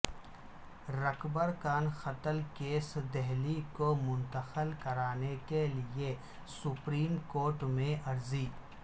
رکبر خان قتل کیس دہلی کو منتقل کرانے کیلئےسپریم کورٹ میں عرضی